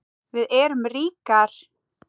Við erum ríkar